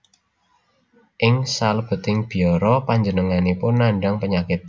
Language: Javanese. Ing salebeting biara panjenenganipun nandhang penyakit